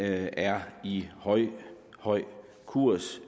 er i høj høj kurs